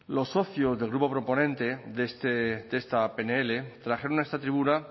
los socios del grupo proponente de esta pnl trajeron a esta tribuna